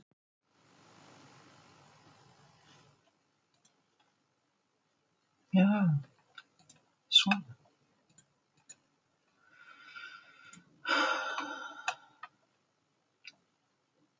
Myndband af marki Heiðars